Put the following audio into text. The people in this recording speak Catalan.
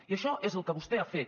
i això és el que vostè ha fet